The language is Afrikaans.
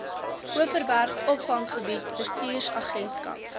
overberg opvanggebied bestuursagentskap